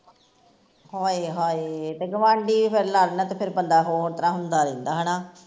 ਹਾਏ ਹਾਏ ਤੇ ਗਵਾਂਡੀ ਵੀ ਫਿਰ ਲੜਨ ਤੇ ਫਿਰ ਬੰਦਾ ਹੋਰ ਤਰਾਂ ਹੁੰਦਾ ਰਹਿੰਦਾ ਹੈਨਾ